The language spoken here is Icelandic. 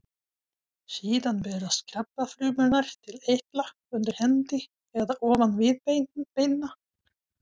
Síðan berast krabbafrumurnar til eitla undir hendi eða ofan viðbeina.